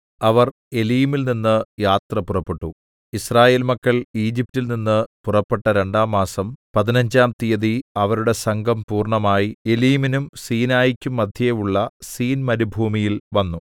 അവർ ഏലീമിൽനിന് യാത്ര പുറപ്പെട്ടു യിസ്രായേൽ മക്കൾ ഈജിപ്റ്റിൽ നിന്ന് പുറപ്പെട്ട രണ്ടാം മാസം പതിനഞ്ചാം തീയതി അവരുടെ സംഘം പൂർണ്ണമായി ഏലീമിനും സീനായിക്കും മദ്ധ്യേ ഉള്ള സീൻ മരുഭൂമിയിൽ വന്നു